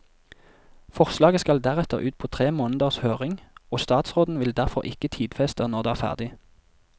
Forslaget skal deretter ut på tre måneders høring, og statsråden vil derfor ikke tidfeste når det ferdig.